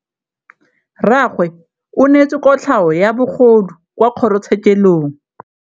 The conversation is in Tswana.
Rragwe o neetswe kotlhaô ya bogodu kwa kgoro tshêkêlông.